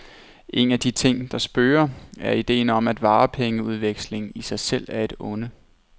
En af de ting, der spøger er idéen om, at varepengeudveksling i sig selv er et onde.